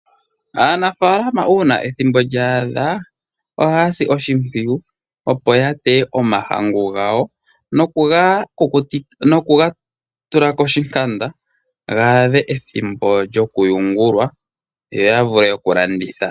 Aanafaalama uuna ethimbo lya adha, ohaya si oshimpwiyu, opo ya teye omahangu gawo noku ga tula koshinkanda ga adhe ethimbo lyokuyungulwa, yo ya vule okulanditha.